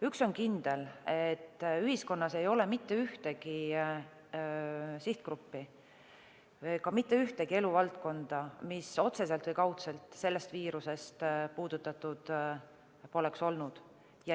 Üks on kindel: ühiskonnas ei ole mitte ühtegi sihtgruppi ega ühtegi eluvaldkonda, mis otseselt või kaudselt sellest viirusest puudutatud poleks olnud.